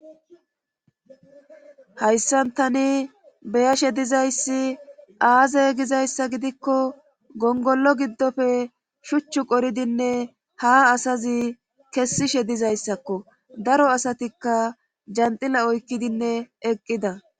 Hayssan tani beyashe dizayssi aaze gizayssa gidikko gongollo giddofe shuchchu qoridinne ha asazi kessishe dizayssakko daro asatikka janxila oykkidinne eqqida